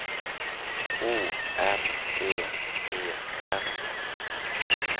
O R D E R